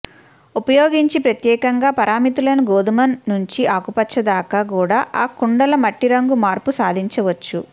ఉపయోగించి ప్రత్యేకంగా పారామితులను గోధుమ నుంచి ఆకుపచ్చ దాకా కూడా ఆ కుండల మట్టి రంగు మార్పు సాధించవచ్చు